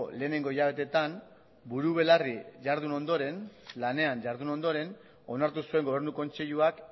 lehenengo hilabeteetan buru belarri jardun ondoren lanean jardun ondoren onartu zuen gobernu kontseiluak